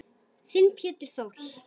Þinn Pétur Þór.